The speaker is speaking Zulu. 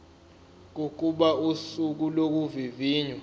kokuba usuku lokuvivinywa